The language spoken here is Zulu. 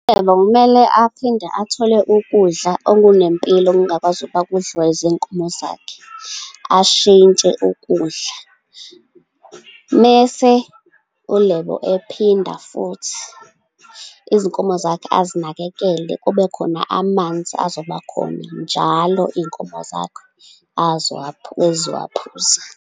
ULebo kumele aphinde athole ukudla okunempilo okungakwazi ukuba kudliwe izinkomo zakhe, ashintshe ukudla. Mese uLebo ephinda futhi izinkomo zakhe azinakekele. Kube khona amanzi azoba khona, njalo iy'nkomo zakhe ezizowaphuza.